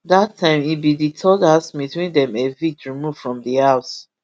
dat time im be di third housemate wey dem evict remove from di house